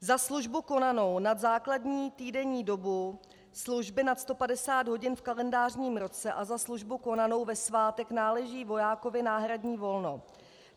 Za službu konanou nad základní týdenní dobu služby nad 150 hodin v kalendářním roce a za službu konanou ve svátek náleží vojákovi náhradní volno."